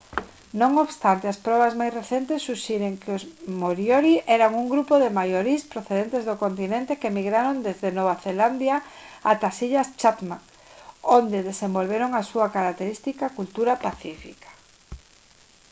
non obstante as probas máis recentes suxiren que os moriori eran un grupo de maorís procedentes do continente que migraron desde nova zelandia ata as illas chatham onde desenvolveron a súa característica cultura pacífica